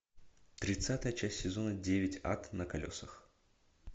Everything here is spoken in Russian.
тридцатая часть сезона девять ад на колесах